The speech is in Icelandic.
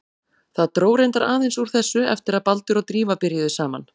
Það dró reyndar aðeins úr þessu eftir að Baldur og Drífa byrjuðu saman.